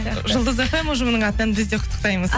жұлдыз фм ұжымының атынан біз де құттықтаймыз